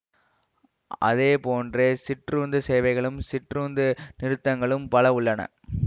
அதேப்போன்றே சிற்றுந்து சேவைகளும் சிற்றுந்து நிறுத்தகங்களும் பல உள்ளன